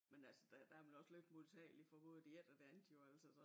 Men altså der man også let modtageligt for både det ene og det andet jo altså så